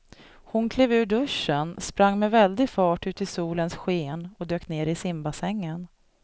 Hon klev ur duschen, sprang med väldig fart ut i solens sken och dök ner i simbassängen.